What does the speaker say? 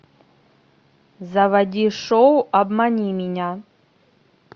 заводи шоу обмани меня